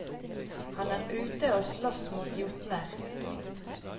Han er ute og slåss mot jotner.